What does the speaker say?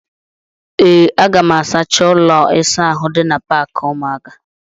Ee, aga m asacha ụlọ ịsa ahụ dị na paakị ụmụaka.